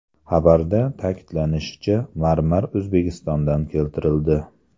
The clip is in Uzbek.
Xabarda ta’kidlanishicha, marmar O‘zbekistondan keltirildi.